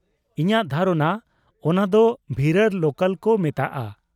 ᱤᱧᱟᱹᱜ ᱫᱷᱟᱨᱚᱱᱟ ᱚᱱᱟᱫᱚ ᱵᱷᱤᱨᱟᱨ ᱞᱳᱠᱟᱞ ᱠᱚ ᱢᱮᱛᱟᱜᱼᱟ ᱾